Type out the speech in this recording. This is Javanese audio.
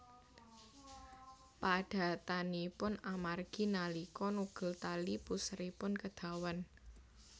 Padatanipun amargi nalika nugel tali puseripun kedawan